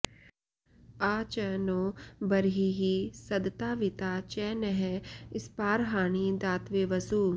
आ च॑ नो ब॒र्हिः सद॑तावि॒ता च॑ नः स्पा॒र्हाणि॒ दात॑वे॒ वसु॑